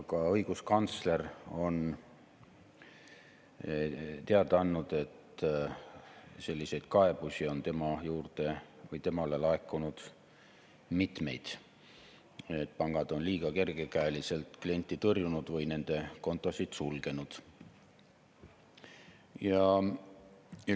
Ka õiguskantsler on teada andnud, et temale on laekunud mitmeid selliseid kaebusi, et pangad on liiga kergekäeliselt kliente tõrjunud või nende kontosid sulgenud.